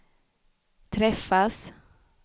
träffas